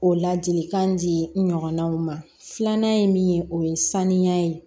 O ladilikan di n ɲɔgɔnnaw ma filanan ye min ye o ye sanuya ye